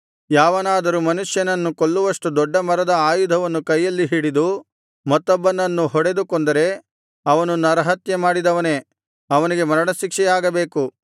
ಯಾವನಾದರೂ ಮನುಷ್ಯನನ್ನು ಕೊಲ್ಲುವಷ್ಟು ದೊಡ್ಡ ಮರದ ಆಯುಧವನ್ನು ಕೈಯಲ್ಲಿ ಹಿಡಿದು ಮತ್ತೊಬ್ಬನನ್ನು ಹೊಡೆದು ಕೊಂದರೆ ಅವನು ನರಹತ್ಯೆಮಾಡಿದವನೇ ಅವನಿಗೆ ಮರಣಶಿಕ್ಷೆಯಾಗಬೇಕು